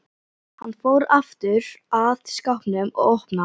Hann fór aftur að skápnum og opnaði hann.